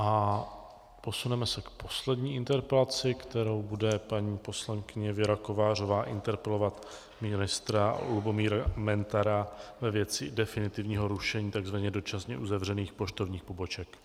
A posuneme se k poslední interpelaci, kterou bude paní poslankyně Věra Kovářová interpelovat ministra Lubomíra Metnara ve věci definitivního rušení tzv. dočasně uzavřených poštovních poboček.